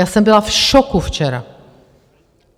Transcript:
Já jsem byla v šoku včera.